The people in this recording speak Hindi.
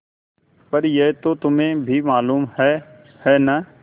पर यह तो तुम्हें भी मालूम है है न